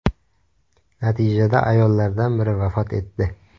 Natijada ayollardan biri vafot etdi.